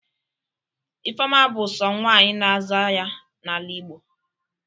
Ifeọma bụ sọ nwaanyị na-aza ya n'ala Igbo.